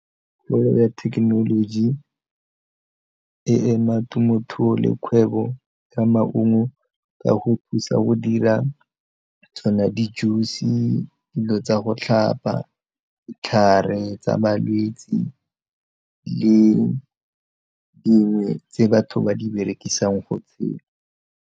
Kgolo ya thekenoloji e ema temothuo le kgwebo ya maungo ka go thusa go dira tsona di-juice, dilo tsa go tlhapa, ditlhare tsa balwetse le dingwe tse batho ba di berekisang go .